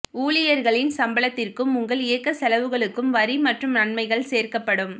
ஊழியர்களின் சம்பளத்திற்கும் உங்கள் இயக்க செலவுகளுக்கும் வரி மற்றும் நன்மைகள் சேர்க்கப்படும்